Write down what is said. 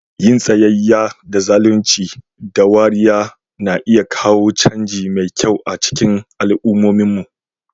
Yin tsayayya da zalunci da wariya na iya kawo canji mai kyau a cikin al'ummominmu.